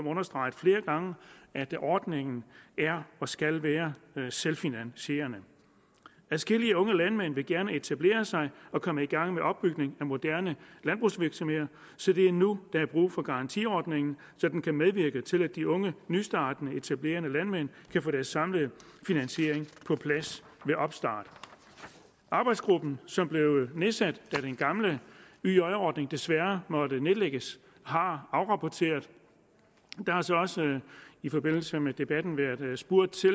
understreget flere gange at ordningen er og skal være selvfinansierende adskillige unge landmænd vil gerne etablere sig og komme i gang med opbygning af moderne landbrugsvirksomheder så det er nu der er brug for garantiordningen så den kan medvirke til at de unge nystartende etablerende landmænd kan få deres samlede finansiering på plads ved opstart arbejdsgruppen som blev nedsat da den gamle yj ordning desværre måtte nedlægges har afrapporteret der har så også i forbindelse med debatten været spurgt til